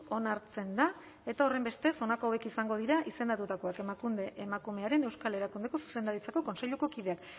onartzen da eta horrenbestez honako hauek izango dira izendatutakoak emakunde emakumearen euskal erakundearen zuzendaritza kontseiluko kideak